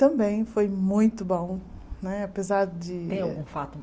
Também foi muito bom, apesar de... Tem algum fato